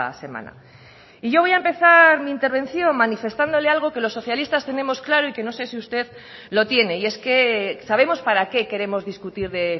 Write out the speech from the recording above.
semana y yo voy a empezar mi intervención manifestándole algo que los socialistas tenemos claro y que no sé si usted lo tiene y es que sabemos para qué queremos discutir de